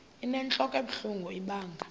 inentlok ebuhlungu ibanga